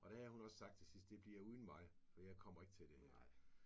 Og der havde hun også sagt til sidst det bliver uden mig for jeg kommer ikke til det her